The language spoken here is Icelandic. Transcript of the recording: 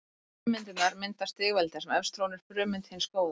Frummyndirnar mynda stigveldi þar sem efst trónir frummynd hins góða.